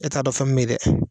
E t'a dɔn fɛn min bɛ ye dɛ.